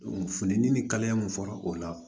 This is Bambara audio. funteni ni kaleya mun fɔra o la